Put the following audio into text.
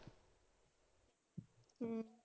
ਹਮ